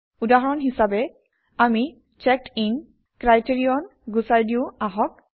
উদাহৰণ হিচাপে আমি চেক্ড ইন ক্ৰাইটেৰিয়ন গুচাই দিওঁ আহক